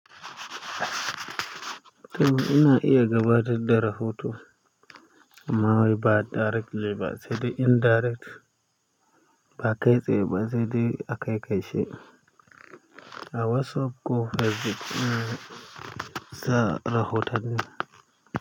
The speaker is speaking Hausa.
To ina iya gabatar da rahoto, amma wai ba directly ba sai da indirect, ba kai tsaye ba sai dai a kai kaice a WhatsApp ko Facebook za a rahotanni.